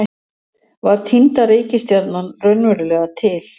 Var týnda reikistjarnan raunverulega til?